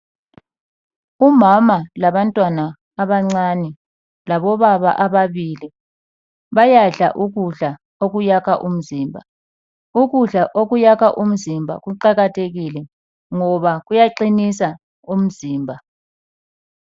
Umama labantwana abancane labobaba ababili bayadla ukudla okuyakha umzimba. Ukudla okuyakha umzimba kuqakathekile ngoba kuyaqinisa umzimba.